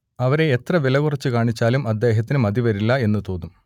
അവരെ എത്ര വിലകുറച്ചുകാണിച്ചാലും അദ്ദേഹത്തിന് മതിവരില്ല എന്നു തോന്നും